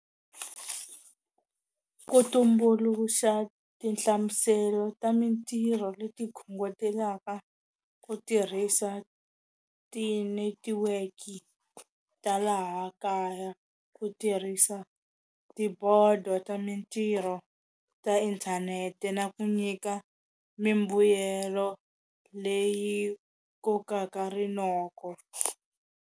Ku tumbuluxa tinhlamuselo ta mitirho leti khongotelaka ku tirhisa tinetiweki ta laha kaya ku tirhisa tibodo ta mitirho ta inthanete na ku nyika mimbuyelo leyi kokaka rinoko.